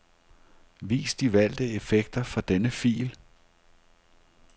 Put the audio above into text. Vis de valgte effekter for denne fil.